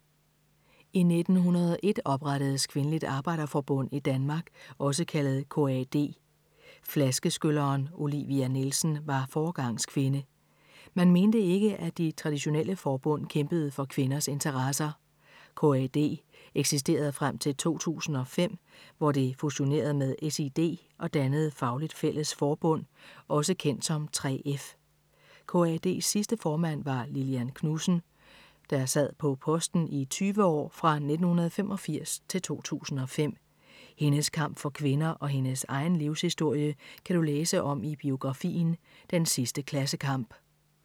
I 1901 oprettedes Kvindeligt Arbejderforbund i Danmark, også kaldet KAD. Flaskeskylleren Olivia Nielsen var foregangskvinde. Man mente ikke, at de traditionelle forbund kæmpede for kvinders interesser. KAD eksisterede frem til 2005, hvor det fusionerede med SiD og dannede Fagligt Fælles Forbund, også kendt som 3F. KAD's sidste formand var Lillian Knudsen, der sad på posten i 20 år, fra 1985-2005. Hendes kamp for kvinder og hendes egen livshistorie, kan du læse om i biografien Den sidste klassekamp.